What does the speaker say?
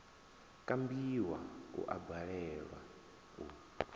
kambiwa u a balelwa u